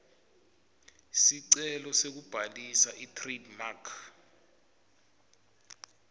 sicelo sekubhalisa itrademark